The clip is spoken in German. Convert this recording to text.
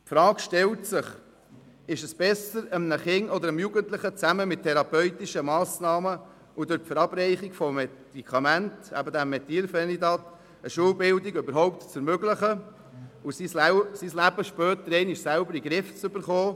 Die Frage stellt sich, ob es besser ist, einem Kind oder einem Jugendlichen zusammen mit therapeutischen Massnahmen und durch die Verabreichung von Medikamenten, eben diesem Methylphenidat, eine Schulbildung überhaupt zu ermöglichen, damit es sein Leben später einmal selbst in den Griff bekommt.